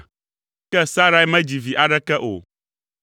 Ke Sarai medzi vi aɖeke o.